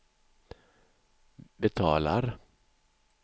betalar